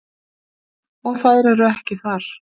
Og þær eru ekki þar.